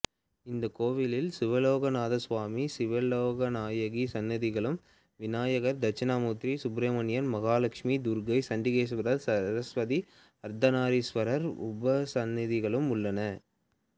இக்கோயிலில் சிவலோகநாத சுவாமி சிவலோகநாயகி சன்னதிகளும் விநாயகர் தட்சிணாமூர்த்தி சுப்ரமணியன் மகாலட்சுமி துர்க்கை சண்டீகேஸ்வரர் சரஸ்வதி அர்த்தநாதீஸவரர் உபசன்னதிகளும் உள்ளன